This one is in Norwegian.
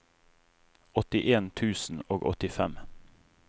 åttien tusen og åttifem